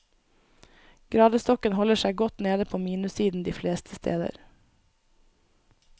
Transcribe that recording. Gradestokken holder seg godt nede på minussiden de fleste steder.